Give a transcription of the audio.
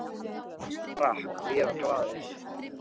Ég drakk og ég var glaður.